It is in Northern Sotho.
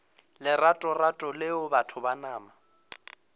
leratorato leo batho ba nama